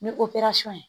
Ni ye